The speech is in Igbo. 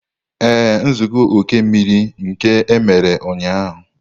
Ee, nzukọ oke mmiri nke emere ụnyahụ